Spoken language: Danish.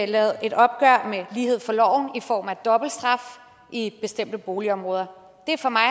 lavet et opgør med lighed for loven i form af dobbeltstraf i bestemte boligområder det er for mig